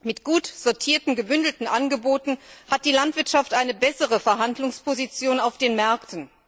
Mit gut sortierten gebündelten Angeboten hat die Landwirtschaft eine bessere Verhandlungsposition auf den Märkten.